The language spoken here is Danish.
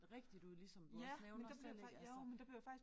Rigtigt ud ligesom du også nævner selv ik altså